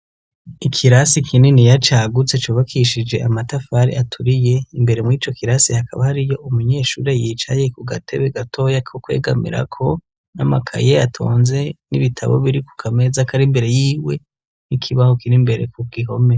Ikirasi kininiya cagutse cubakishije amatafari aturiye imbere muri ico kirasi hakaba hari yo umunyeshure yicaye ku gatebe gatoya ko kwegamira ko n'amakaye atonze n'ibitabo biri ku kameza kari imbere yiwe n'ikibaho kiri mbere ku bwihomera.